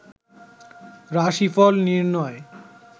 রাশিফল নির্ণয়